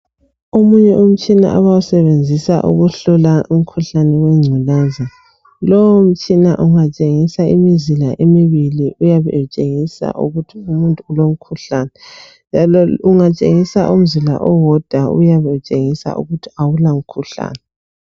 Omunye umtshina abawusebenzisa ukuhlola umkhuhlane wengculaza. Lowo mtshina ungatshengisa imizila emibili uyabe etshengisa ukuthi umuntu ulomkhuhlane njalo ungatshengisa umzila owodwa uyabetshengisa ukuthi awulamkhuhlane.